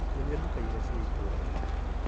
Nyonia nduka iria ciĩ itũra-inĩ .